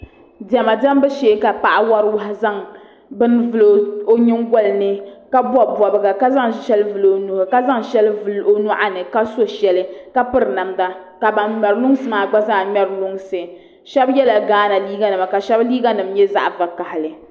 diɛma diɛmbu shee ka paɣa wari wahi zaŋ bin vili o nyingoli ni ka bɔbi bɔbiga ka zaŋ shɛli vili o nua ka zaŋ shɛli vili nyɔɣuni ka so shɛli ka piri namda ka ban ŋmɛri lunsi maa gba zaa ŋmɛri lunsi shɛba yela gaana liiganima ka shɛba liiganima nye za; g'vakahili